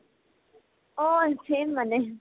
অ, same মানে